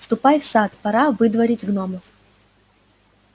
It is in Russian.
ступай в сад пора выдворить гномов